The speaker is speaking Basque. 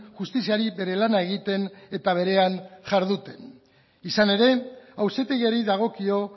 justiziari bere lana egiten eta berean jarduten izan ere auzitegiari dagokio